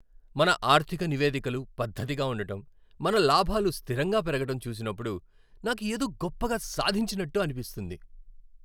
మన ఆర్థిక నివేదికలు పద్దతిగా ఉండటం, మన లాభాలు స్థిరంగా పెరగడం చూసినప్పుడు నాకు ఏదో గొప్పగా సాధించినట్టు అనిపిస్తుంది